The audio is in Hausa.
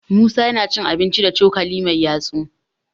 musa yana cin abinci da cokali Mai yatsu